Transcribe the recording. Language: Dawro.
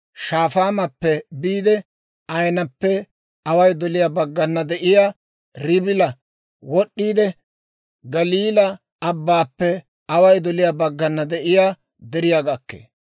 Shafaamappe biide, Ayinappe away doliyaa baggana de'iyaa Ribila wod'd'iide, Galiilaa Abbaappe away doliyaa baggana de'iyaa deriyaa gakkee.